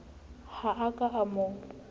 ha a ka a mo